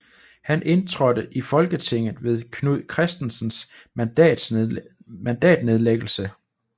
Han indtrådte i Folketinget ved Knud Kristensens mandatnedlæggelse